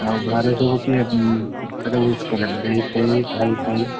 ଆଉ ଘରେ ସବୁ କିଏ ତତେ wish କଲେଣି ଦେଇ ଫେଇ ଭାଇ ଫାଇ?